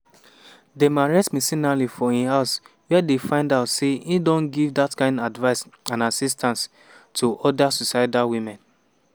dem arrest mcinally for im house wia dem find out say e don give dat kain "advice and assistance" to oda suicidal women.